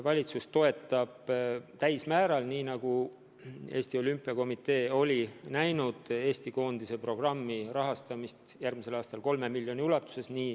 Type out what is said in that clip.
Valitsus toetab täiel määral, nii nagu Eesti Olümpiakomitee on pakkunud, Eesti koondise programmi rahastamist järgmisel aastal 3 miljoni ulatuses.